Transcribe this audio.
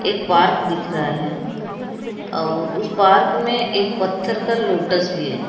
एक पार्क दिख रहे हैं और उस पार्क में एक पत्थर का लोटस भी है।